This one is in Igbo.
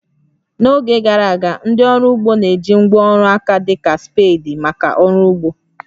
N'oge gara aga, ndị ọrụ ugbo na-eji ngwá ọrụ aka dị ka spades maka ọrụ ugbo